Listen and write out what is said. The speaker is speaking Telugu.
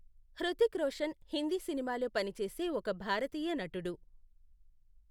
హృతిక్ రోషన్ హిందీ సినిమాలో పని చేసే ఒక భారతీయ నటుడు.